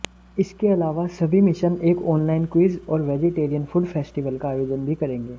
इसके अलावा सभी मिशन एक ऑनलाइन क्विज और वेजिटेरियन फूड फेस्टिवल का आयोजन भी करेंगे